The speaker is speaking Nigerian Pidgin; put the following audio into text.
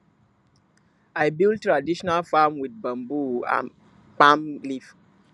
i build traditional farm with bamboo and palm leaf